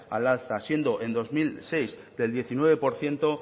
al alza siendo en dos mil seis del diecinueve por ciento